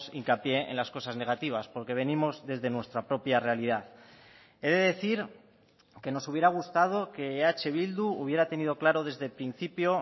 hincapié en las cosas negativas porque venimos desde nuestra propia realidad he de decir que nos hubiera gustado que eh bildu hubiera tenido claro desde el principio